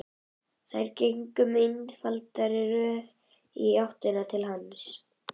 Þær gengu í einfaldri röð í áttina til hans.